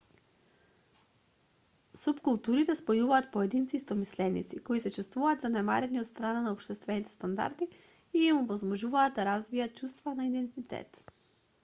супкултурите спојуваат поединци истомисленици кои се чувствуваат занемарени од страна на општествените стандарди и им овозможуваат да развијат чувство на идентитет